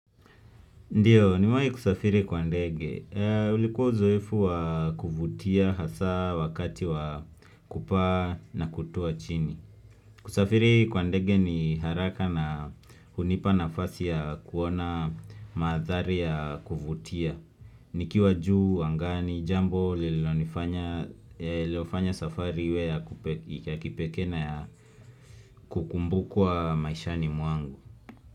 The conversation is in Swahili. Ndiyo, nimewahi kusafiri kwa ndege. Ulikuwa uzoefu wa kuvutia hasaa wakati wa kupaa na kutua chini. Kusafiri kwa ndege ni haraka na hunipa nafasi ya kuona mandhari ya kuvutia. Nikiwa juu angani jambo lililofanya safari ya kipekee na ya kukumbukwa maishani mwangu.